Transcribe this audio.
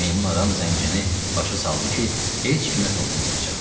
Meymun adam zəncini başa saldı ki, heç kimə toxunmayacaq.